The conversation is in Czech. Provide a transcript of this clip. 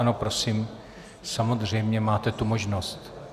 Ano, prosím, samozřejmě máte tu možnost.